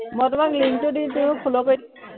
মই তোমাক link টো দি দিও follow কৰি দিবা